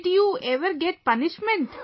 Did you ever get punishment